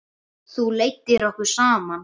Þú leiddir okkur saman.